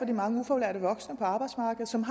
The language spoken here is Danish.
de mange ufaglærte voksne på arbejdsmarkedet som